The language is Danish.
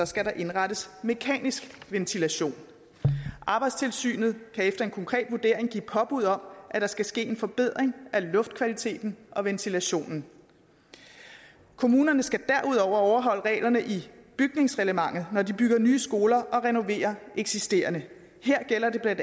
skal der indrettes mekanisk ventilation arbejdstilsynet kan efter en konkret vurdering give påbud om at der skal ske en forbedring af luftkvaliteten og ventilationen kommunerne skal derudover overholde reglerne i bygningsreglementet når de bygger nye skoler og renoverer eksisterende her gælder det bla